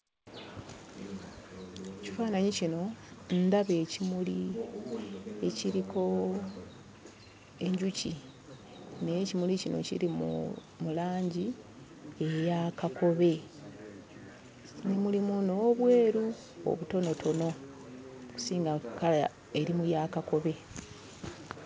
Kifaananyi kino ndaba ekimuli ekiriko enjuki naye ekimuli kino kiri mu mu langi eya kakobe mm mulimu n'obweru obutonotono kusinga kkala eri mu ya kakobe.